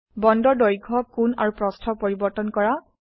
বন্দৰ দৈৰ্ঘ্য কোণ আৰু প্ৰস্থ পৰিবৰ্তন কৰা